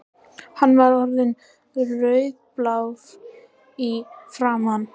Hann var orðinn rauðblár í framan.